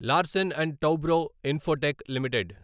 Larsen and Toubro Infotech limited